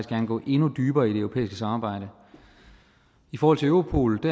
gerne gå endnu dybere i det europæiske samarbejde i forhold til europol